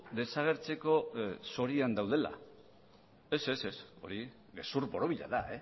desagertzeko zorian daudela ez ez hori gezur borobila da